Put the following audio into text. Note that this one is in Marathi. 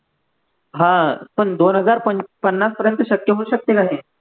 हा पण दोन हजार पन पन्नासपर्यंत शक्य होऊ शकते का ती